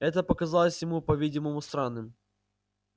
это показалось ему по-видимому странным